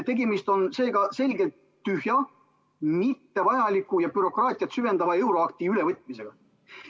Tegemist on seega selgelt tühja, mittevajaliku ja bürokraatiat süvendava euroakti ülevõtmisega.